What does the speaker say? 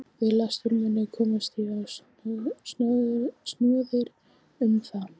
Við lestur minn komst ég á snoðir um að